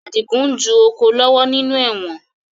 Adigun ń ju oko lọ́wọ́ nínú ẹ̀wọ̀n